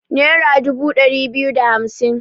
Nera dubu ɗari biyu da hamsin